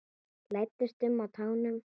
Læddist um á tánum.